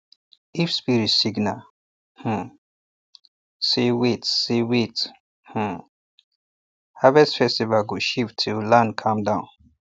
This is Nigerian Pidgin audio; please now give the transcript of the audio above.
if spirit signal um say wait say wait um harvest festival go shift till land calm down